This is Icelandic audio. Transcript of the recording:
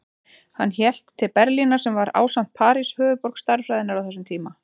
Hann hélt til Berlínar sem var, ásamt París, höfuðborg stærðfræðinnar á þessum tíma.